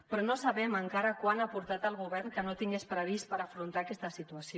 però no sabem encara quant ha aportat el govern que no tingués previst per afrontar aquesta situació